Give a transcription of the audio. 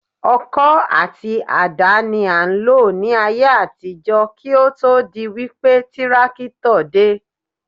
Ọkọ́ àti àdá ni a ń lò ní ayé àtijọ́ kí ó tó di wípé tírákítọ̀ dé